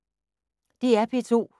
DR P2